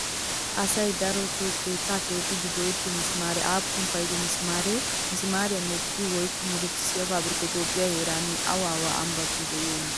Asay daroto keettaa keexxiiddi go'ettiyo mismaaree aappun paydo mismaaree? Mismaariyaa medhdhiya woykko murutissiyaa paabirkkati Toophphiyaa heeran awa awa ambbatun de'iyonaa?